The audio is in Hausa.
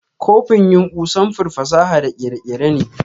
Copin yumbu sanfur fasaha da kere-kere ne.